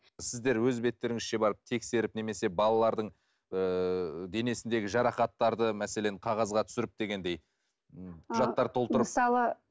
сіздер өз беттеріңізше барып тексеріп немесе балалардың ыыы денесіндегі жарақаттарды мәселен қағазға түсіріп дегендей құжаттар толтырып мысалы